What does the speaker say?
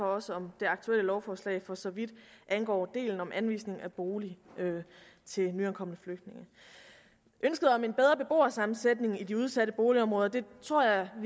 også om det aktuelle lovforslag for så vidt angår delen om anvisning af bolig til nyankomne flygtninge ønsket om en bedre beboersammensætning i de udsatte boligområder tror jeg at